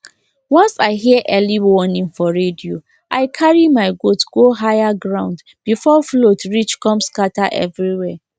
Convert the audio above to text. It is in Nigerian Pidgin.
once i hear early warning for radio i carry my goat go higher ground before flood reach come scatter everywhere